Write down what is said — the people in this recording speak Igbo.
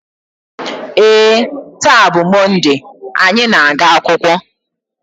ee, taa bụ Mọnde anyị na-aga akwụkwọ